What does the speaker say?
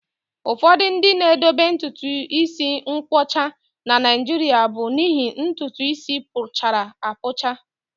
Ụfọdụ ndị na-edobe ntutu isi nkwọcha na Naịjirịa bụ n'ihi ntutu isi puchara apucha